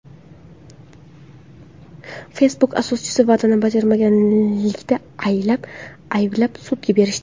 Facebook asoschisini va’dani bajarmaganlikda ayblab, sudga berishdi.